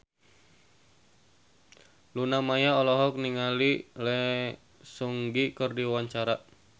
Luna Maya olohok ningali Lee Seung Gi keur diwawancara